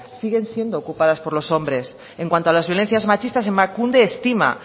siguen siendo ocupadas por los hombres en cuanto a las violencias machistas emakunde estima